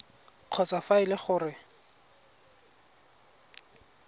kgotsa fa e le gore